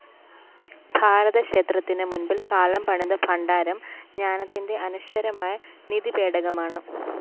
ഭാരതക്ഷേത്രത്തിന് മുന്‍പില്‍ കാലം പണിത ഭണ്ഡാരം ജ്ഞാനത്തിന്റെ അനശ്വരമായ നിധിപേടകമാണ്